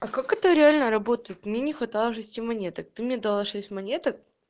а как это реально работает мне не хватало шести монеток ты мне дала шесть монеток